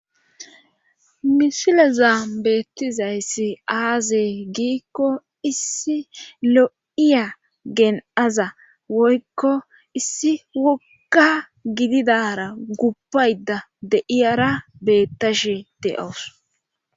misile za beettizayssi aazey giikko issi lo7iya gen7aza woykko issi woga gididara gubpayda deiyara beettashe de7ows